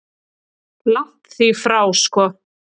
Langt því frá sko.